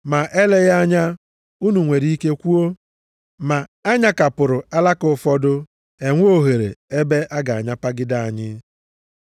Ma eleghị anya unu nwere ike kwuo, “Ma a nyakapụrụ alaka ụfọdụ e nwee ohere ebe a ga-anyapagide anyị.”